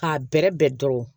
K'a bɛrɛbɛn